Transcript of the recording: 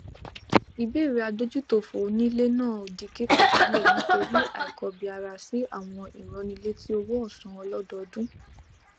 ìbéèrè adójútòfò onílé náà di kíkọ sílẹ nítorí àìkọbiarasi àwọn ìránnilétí owóòsan ọlọdọọdún